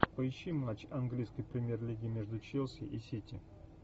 поищи матч английской премьер лиги между челси и сити